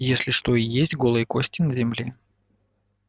если что и есть голые кости в земле